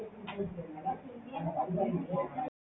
India